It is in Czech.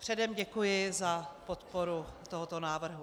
Předem děkuji za podporu tohoto návrhu.